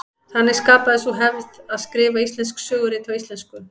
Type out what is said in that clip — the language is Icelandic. Þannig skapaðist sú hefð að skrifa íslensk sögurit á íslensku.